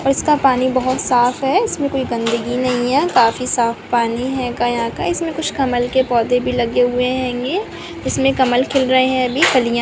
इसका पानी बहोत साफ़ है इसमें कोई गन्दगी नहीं है काफी साफ़ पानी हैंगा यहाँ का। इसमें कुछ कमल के पौधे भी लगे हुए हैंगे इसमें कमल खिल रहे हैं अभी कलियाँ --